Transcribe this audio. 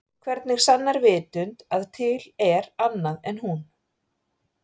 Hvernig sannar vitund að til er annað en hún?